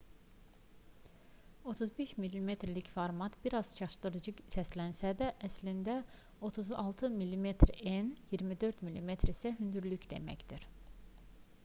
35 mm-lik format bir az çaşdırıcı səslənsə də əslində 36 mm en 24 mm isə hündürlük deməkdir